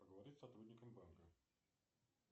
поговорить с сотрудником банка